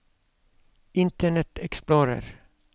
internet explorer